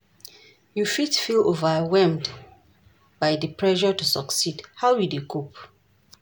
You fit feel overwhelmed by di pressure to succeed, how you dey cope?